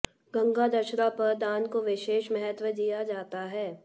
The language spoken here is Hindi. गंगा दशहरा पर दान को विशेष महत्व दिया जाता है